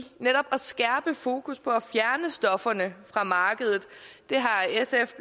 netop at skærpe fokus på at få fjernet stofferne fra markedet det har sf